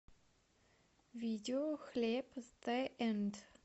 видео хлеб зе энд